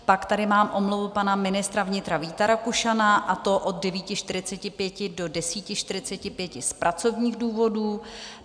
Pak tady mám omluvu pana ministra vnitra Víta Rakušana, a to od 9.45 do 10.45 z pracovních důvodů.